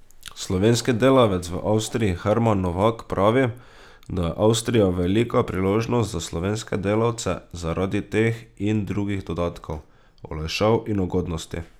Slovenski delavec v Avstriji Herman Novak pravi, da je Avstrija velika priložnost za slovenske delavce zaradi teh in drugih dodatkov, olajšav in ugodnosti.